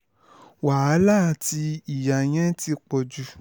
wàhálà àti ìyà yẹn ti ń pọ̀ jù